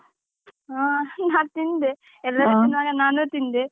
ಹಾ ನಾ ತಿಂದೆ ಎಲ್ಲಾ ತಿನ್ನುವಾಗ ನಾನೂ ತಿಂದೆ.